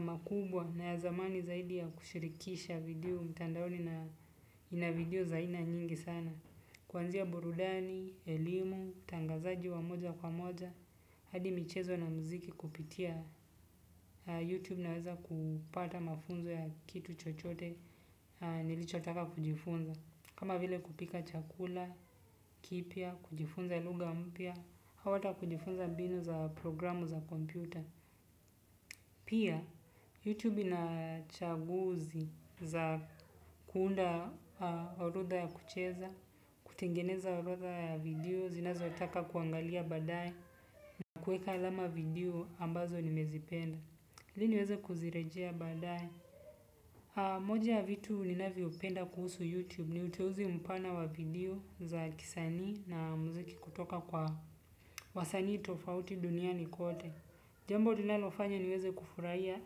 makubwa na ya zamani zaidi ya kushirikisha video mtandaoni na video za aina nyingi sana. Kuanzia burudani, elimu, utangazaji wa moja kwa moja, hadi michezo na mziki kupitia YouTube naweza kupata mafunzo ya kitu chochote nilichotaka kujifunza. Kama vile kupika chakula, kipya, kujifunza lugha mpya, au hata kujifunza mbinu za programu za kompyuta. Pia, YouTube ina chaguzi za kuunda orodha ya kucheza, kutengeneza orodha ya video, zinazotaka kuangalia baadaye na kueka alama video ambazo nimezipenda. Ili niweze kuzirejea baadaye. Moja ya vitu ninavyopenda kuhusu YouTube ni uteuzi mpana wa video za kisanii na mziki kutoka kwa wasanii tofauti duniani kote. Jambo linalofanya niweze kufuraia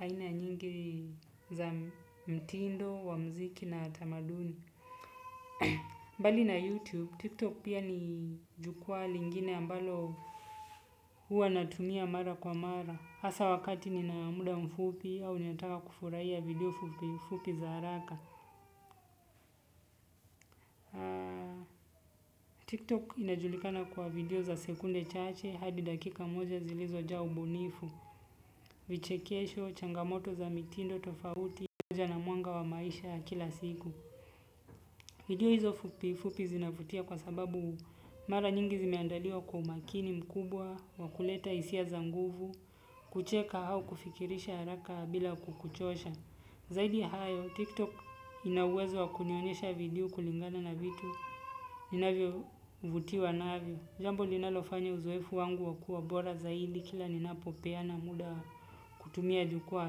aina nyingi za mtindo, wa mziki na tamaduni. Mbali na YouTube, TikTok pia ni jukwaa lingine ambalo huwa natumia mara kwa mara. Hasa wakati nina muda mfupi au ninataka kufuraia video fupi za haraka. TikTok inajulikana kwa video za sekunde chache hadi dakika moja zilizojaa ubunifu, vichekesho, changamoto za mitindo tofauti, tija na mwanga wa maisha kila siku. Video hizo fupi fupi zinavutia kwa sababu mara nyingi zimeandaliwa kwa umakini mkubwa, wa kuleta hisia za nguvu, kucheka au kufikirisha haraka bila kukuchosha. Zaidi hayo, tiktok ina uwezo wa kunionyesha video kulingana na vitu ninavyovutiwa navyo. Jambo linalofanya uzoefu wangu wa kua bora zaidi kila ninapopeana muda kutumia jukwaa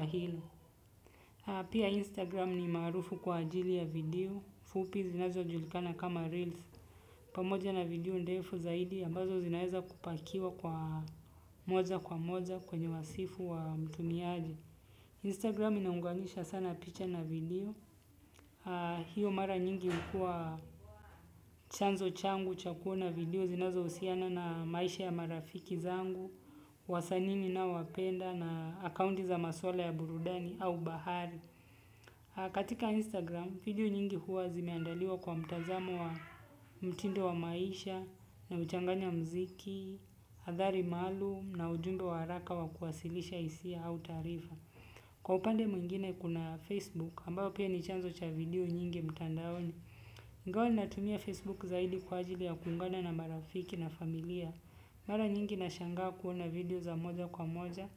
hilo. Pia instagram ni maarufu kwa ajili ya video fupi zinazojulikana kama reels pamoja na video ndefu zaidi ambazo zinaeza kupakiwa kwa moja kwa moja kwenye wasifu wa mtumiaji. Instagram inaunganisha sana picha na video. Hiyo mara nyingi hukua chanzo changu cha kuona video zinazohusiana na maisha ya marafiki zangu wasani ninaowapenda na akaunti za maswala ya burudani au bahari. Katika Instagram video nyingi huwa zimeandaliwa kwa mtazamo wa mtindo wa maisha huchanganya mziki habari maalum na ujumbe wa haraka wa kuwasilisha hisia au taarifa kwa upande mwingine kuna Facebook ambayo pia ni chanzo cha video nyingi mtandaoni ingawa natumia Facebook zaidi kwa ajili ya kuungana na marafiki na familia. Mara nyingi nashangaa kuona video za moja kwa moja,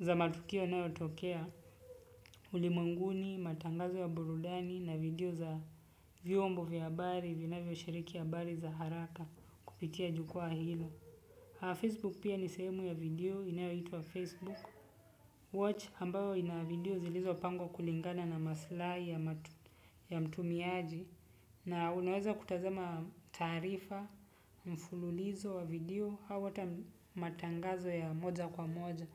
za matukio inayotokea, ulimwenguni, matangazo ya burudani, na video za vyombo vya habari, vinavyoshiriki habari za haraka kupitia jukwaa hilo. Facebook pia ni sehemu ya video inayoitwa Facebook watch ambayo ina video inayopangwa kulingana maslahi ya mtumiaji na unaweza kutazama taarifa yenye usimulizi wa video au hata matangazo ya moja kwa moja.